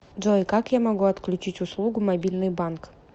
джой как я могу отключить услугу мобильный банк